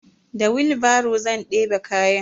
Da wilbaro zan ɗebe kayan.